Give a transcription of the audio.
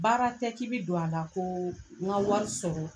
Baara tɛ k'i bɛ don a la ko n ka wari sɔrɔ.